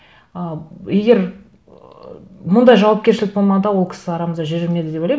ы егер ыыы мұндай жауапкершілік болмағанда ол кісі арамызда жүрер ме еді деп ойлаймын